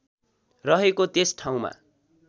रहेको त्यस ठाउँमा